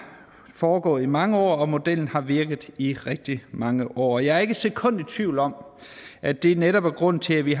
foregået i mange år og modellen har virket i rigtig mange år og jeg er ikke et sekund i tvivl om at det netop er grunden til at vi